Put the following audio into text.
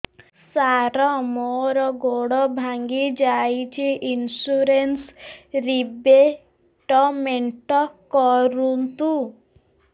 ସାର ମୋର ଗୋଡ ଭାଙ୍ଗି ଯାଇଛି ଇନ୍ସୁରେନ୍ସ ରିବେଟମେଣ୍ଟ କରୁନ୍ତୁ